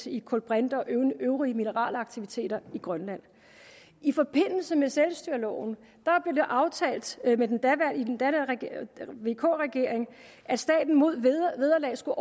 i kulbrinte og mineralaktiviteter i grønland i forbindelse med selvstyreloven blev det aftalt i den daværende vk regering at staten mod vederlag skulle